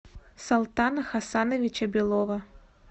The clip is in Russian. солтана хасановича белова